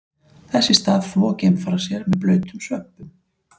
Þess í stað þvo geimfarar sér með blautum svömpum.